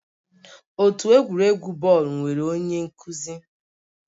Otu egwuregwu bọọlụ nwere onye nkuzi